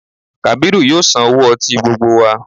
Kàbírù yóò sanwó ọtí gbogbo wa